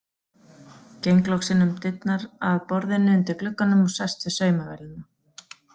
Geng loks inn um dyrnar að borðinu undir glugganum og sest við saumavélina.